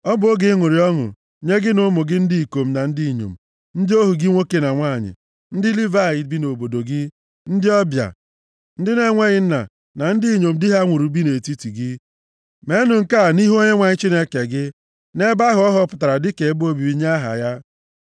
Ọ bụ oge ịṅụrị ọṅụ nye gị na ụmụ gị ndị ikom na ndị inyom, ndị ohu gị nwoke na nwanyị, ndị Livayị bi nʼobodo gị, ndị ọbịa, ndị na-enweghị nna na ndị inyom di ha nwụrụ bi nʼetiti gị. Meenụ nke a nʼihu Onyenwe anyị Chineke gị, nʼebe ahụ ọ họpụtara dịka ebe obibi nye aha ya.